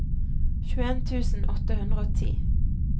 tjueen tusen åtte hundre og ti